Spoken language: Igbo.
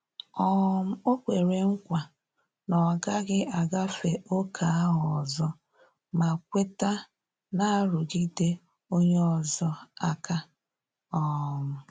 um Ọ kwere nkwa na ọ gaghị agafe ókè ahụ ọzo ma kweta narugi onye ozo aka um